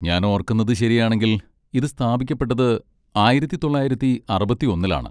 ഞാൻ ഓർക്കുന്നതു ശരിയാണെങ്കിൽ ഇത് സ്ഥാപിക്കപ്പെട്ടത് ആയിരത്തി തൊള്ളായിരത്തി അറുപത്തിയൊന്നിലാണ്